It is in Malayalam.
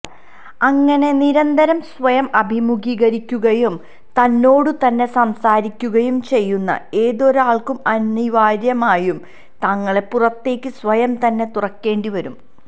അങ്ങനെ നിരന്തരം സ്വയം അഭിമുഖീകരിക്കുകയും തന്നോടുതന്നെ സംസാരിക്കുകയും ചെയ്യുന്ന ഏതൊരാള്ക്കും അനിവാര്യമായും തങ്ങളെ പുറത്തേക്ക് സ്വയംതന്നെ തുറക്കേണ്ടിവരും